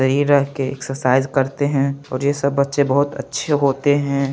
शरीर के एक्सर्साइज़ करते है और ये सब अच्छे बहुत अच्छे होते है।